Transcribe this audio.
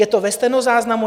Je to ve stenozáznamu.